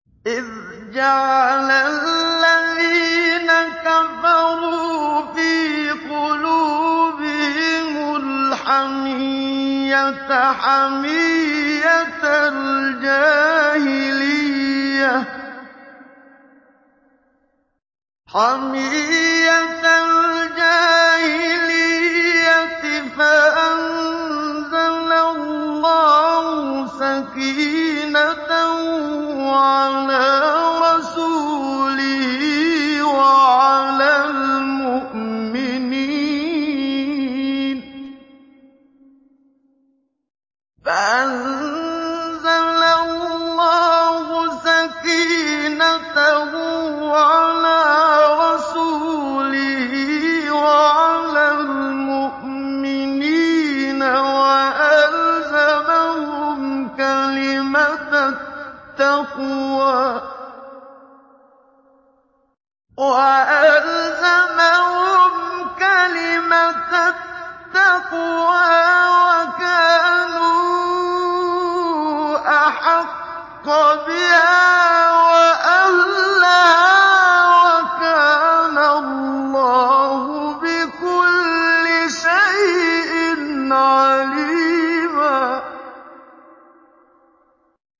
إِذْ جَعَلَ الَّذِينَ كَفَرُوا فِي قُلُوبِهِمُ الْحَمِيَّةَ حَمِيَّةَ الْجَاهِلِيَّةِ فَأَنزَلَ اللَّهُ سَكِينَتَهُ عَلَىٰ رَسُولِهِ وَعَلَى الْمُؤْمِنِينَ وَأَلْزَمَهُمْ كَلِمَةَ التَّقْوَىٰ وَكَانُوا أَحَقَّ بِهَا وَأَهْلَهَا ۚ وَكَانَ اللَّهُ بِكُلِّ شَيْءٍ عَلِيمًا